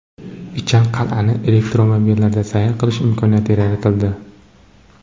Ichan qal’ani elektromobillarda sayr qilish imkoniyati yaratildi.